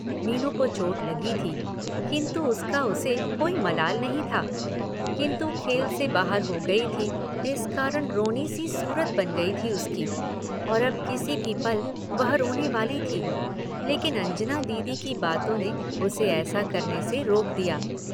मीनू को चोट लगी थी किन्तु उसका उसे कोई मलाल नहीं था किन्तु खेल से बाहर हो गयी थी इस कारण रोनी सी सूरत बन गयी थी उसकी और अब किसी भी पल वह रोने वाली थी लेकिन अंजना दीदी की बातों ने उसे ऐसा करने से रोक दिया।